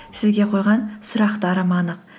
сізге қойған сұрақтарым анық